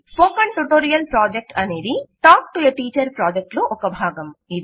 spoken tutorial project అనేది talk to teacher project లో భాగం